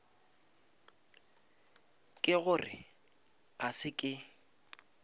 ke gore a se ke